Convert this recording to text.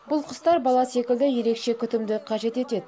бұл құстар бала секілді ерекше күтімді қажет етеді